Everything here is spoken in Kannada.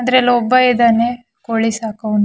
ಅಂದ್ರೆ ಅದ್ರಲ್ ಒಬ್ಬ ಇದ್ದಾನೆ ಕೋಳಿ ಸಾ ಕೋವ್ನು--